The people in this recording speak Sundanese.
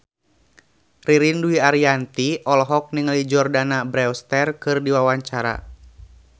Ririn Dwi Ariyanti olohok ningali Jordana Brewster keur diwawancara